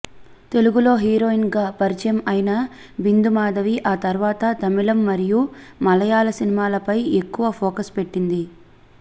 తెలుగులో హీరోయిన్గా పరిచయం అయిన బింధు మాధవి ఆ తర్వాత తమిళం మరియు మలయాళ సినిమాలపై ఎక్కువ ఫోకస్ పెట్టింది